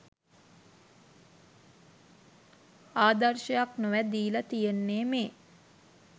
ආදර්ශයක් නොවැ දීලා තියෙන්නේ මේ.